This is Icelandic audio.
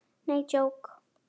Nei, djók.